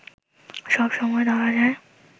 সব সময় ধরা যায়